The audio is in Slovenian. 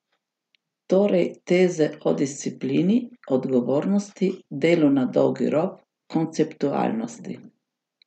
Torej teze o disciplini, odgovornosti, delu na dolgi rok, konceptualnosti.